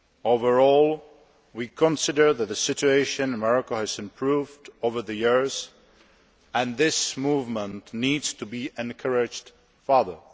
Overall, we consider that the situation in Morocco has improved over the years and this movement needs to be encouraged further.